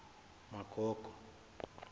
magogo